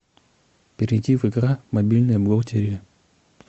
перейди в игра мобильная бухгалтерия